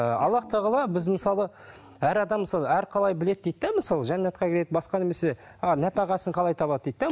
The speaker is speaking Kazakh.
і аллах тағала біз мысалы әр адам мысалы әр қалай біледі дейді де мысалы жәннатқа кіреді басқа немесе а нәпақасын қалай табады дейді де